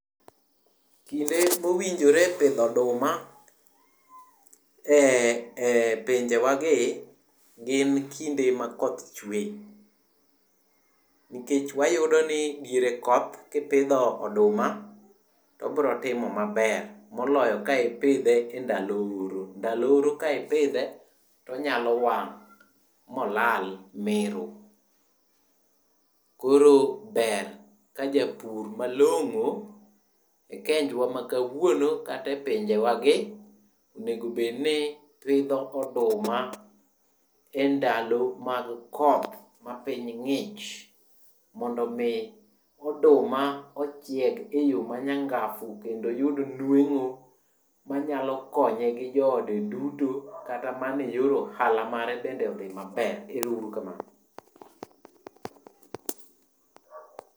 Kinde mowinjore pidho oduma en pinjewagi gin kinde makoth chwe. Nikech wayudoni diere koth kipidho oduma to obro timo maber moloyo ka ipidhe e ndalo oro. Ndalo oro ka ipidhe tonyalo wang' molal miro. Koro ber ka japur malong'o e kenjwa ma kawuono kata e pinjewagi, onego obedni pidho oduma e ndalo mag koth ma piny ng'ich mondo omi oduma ochiek e yo manyangafu kendo oyud nweng'o manyalo konye gi joode duto kata mana e yor ohala bende odhi maber. Ero uru kamano.